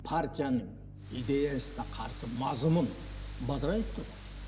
партияның идеясына қарсы мазмұн бадырайып тұр ғой